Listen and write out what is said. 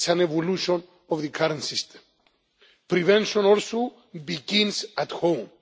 it is an evolution of the current system. Prevention also begins at home.